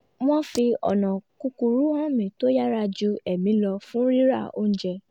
wọ́n fi ọ̀nà kúkúrú hàn mi tó yára ju èmi lọ fún rira oúnjẹ